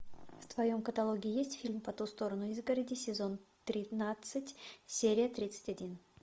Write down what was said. в твоем каталоге есть фильм по ту сторону изгороди сезон тринадцать серия тридцать один